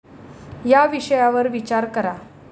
या विषयावर विचार करा.